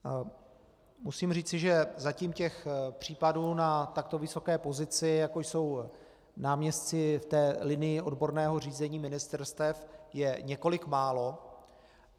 Musím říci, že zatím těch případů na takto vysoké pozici, jako jsou náměstci v té linii odborného řízení ministerstev, je několik málo.